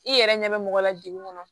I yɛrɛ ɲɛ bɛ mɔgɔ la degun kɔnɔ